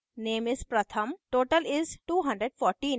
name is: pratham total is: 214 और